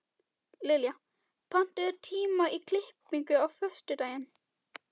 Liljar, pantaðu tíma í klippingu á föstudaginn.